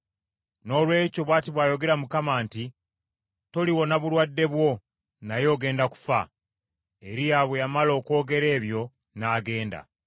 Noolwekyo bw’ati bw’ayogera Mukama nti, toliwona bulwadde bwo, naye ogenda kufa.” Eriya bwe yamala okwogera ebyo n’agenda.